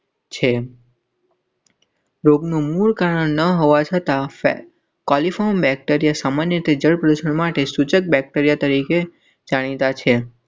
રોગનું મૂળ કારણ હવાસા. ત્યાં સામાન્ય રીતે જળ પ્રદૂષણ માટે સૂચક બેકટેરિયા તરીકે જાણીતા છે.